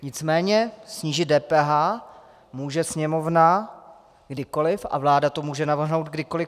Nicméně snížit DPH může Sněmovna kdykoliv a vláda to může navrhnout kdykoliv.